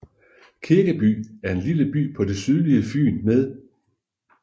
Kirkeby er en lille by på det sydlige Fyn med